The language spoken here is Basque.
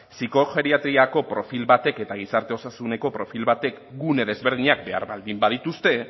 psikogeriatriako profil batek eta gizarte osasuneko profil batek gune desberdinak behar baldin badituzte